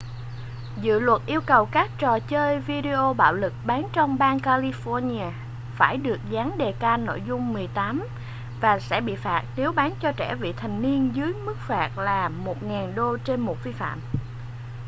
dự luật yêu cầu các trò chơi video bạo lực bán trong bang california phải được dán đề-can nội dung 18 và sẽ bị phạt nếu bán cho trẻ vị thành niên với mức phạt là $1000 trên một vi phạm